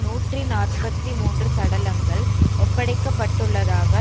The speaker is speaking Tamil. நூற்றி நாற்பத்தி மூன்று சடலங்கள் ஒப்படைக்கப்பட்டுள்ளதாக